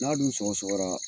N'a dun sɔgɔ sɔgɔra